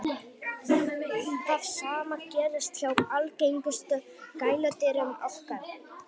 það sama gerist hjá algengustu gæludýrum okkar